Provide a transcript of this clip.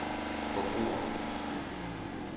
forbrugere